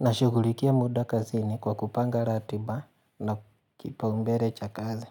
Nashughulikia muda kazini kwa kupanga ratiba na kipaumbele cha kazi.